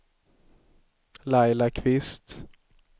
Laila Kvist